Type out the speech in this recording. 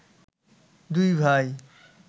দুই ভাই